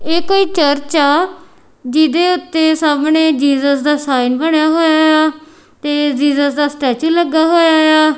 ਇਹ ਕੋਈ ਚਰਚ ਆ ਜਿਹਦੇ ਉੱਤੇ ਸਾਹਮਣੇਂ ਜੀਸਸ ਦਾ ਸਾਈਨ ਬਣਿਆ ਹੋਇਆ ਏ ਆ ਤੇ ਜੀਜਸ ਦਾ ਸਟੈਚੂ ਲੱਗਿਆ ਹੋਇਆ ਏ ਆ।